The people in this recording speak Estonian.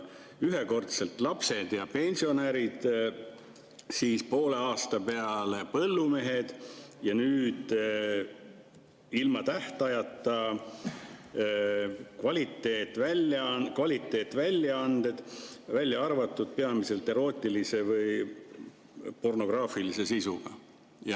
Ühekordselt lapsed ja pensionärid, poole aasta peale põllumehed ning nüüd ilma tähtajata, igavesest ajast igavesti kvaliteetväljaanded, välja arvatud peamiselt erootilise või pornograafilise sisuga.